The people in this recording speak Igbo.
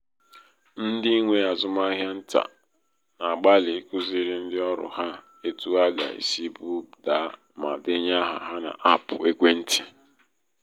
ndị nwe azụmahịa ntà um na-agbalị ikuziri um ndị ọrụ ha etu ha ga-esi buda ma denye áhà ha n'apụ ekwentị.